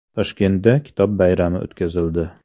Toshkentda Kitob bayrami o‘tkazildi .